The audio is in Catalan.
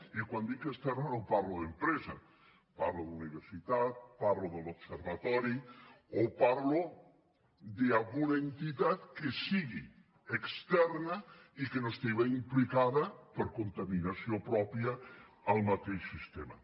i quan dic externa no parlo d’empresa parlo d’universitat parlo de l’observatori o parlo d’alguna entitat que sigui externa i que no estigui implicada per contaminació pròpia al mateix sistema